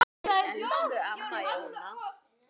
Elsku amma Jóna.